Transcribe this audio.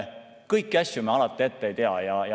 Kõiki asju me alati ette ei tea.